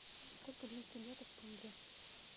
сколько длится лето в тундре